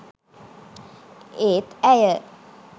ඒත් ඇය